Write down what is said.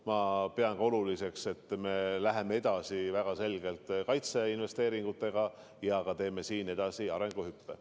Ma pean ka oluliseks, et me läheme väga selgelt edasi kaitseinvesteeringutega ja teeme ka siin arenguhüppe.